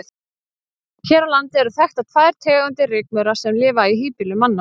Hér á landi eru þekktar tvær tegundir rykmaura sem lifa í híbýlum manna.